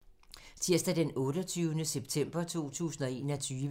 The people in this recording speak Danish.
Tirsdag d. 28. september 2021